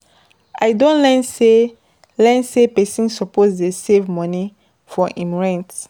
I don learn sey learn say pesin suppose dey save moni for im rent.